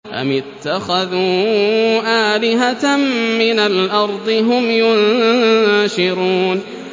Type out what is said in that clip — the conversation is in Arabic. أَمِ اتَّخَذُوا آلِهَةً مِّنَ الْأَرْضِ هُمْ يُنشِرُونَ